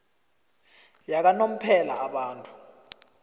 yakanomphela abantu